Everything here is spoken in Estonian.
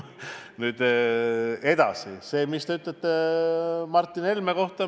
Nüüd edasi sellest, mis te ütlesite Martin Helme kohta.